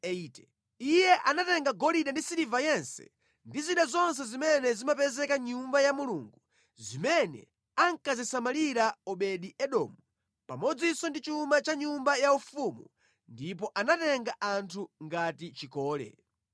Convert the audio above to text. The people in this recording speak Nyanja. Iye anatenga golide ndi siliva yense ndi zida zonse zimene zimapezeka mʼNyumba ya Mulungu zimene ankazisamalira Obedi-Edomu, pamodzinso ndi chuma cha mʼnyumba yaufumu ndipo anatenga anthu ngati chikole.